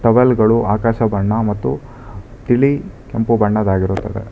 Towel ಗಳು ಆಕಾಶ ಬಣ್ಣ ಮತ್ತು ತಿಳಿ ಕೆಂಪು ಬಣ್ಣದ್ದಾಗಿರುತ್ತದೆ.